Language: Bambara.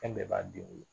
Fɛn bɛɛ b'a den wolo